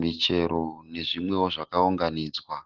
Michero nezvimwewo zvakaunganidzwa.